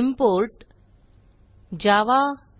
import javautilअरेज